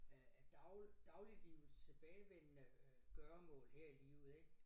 Øh af dag dagliglivets tilbagevendende øh gøremål her i livet ik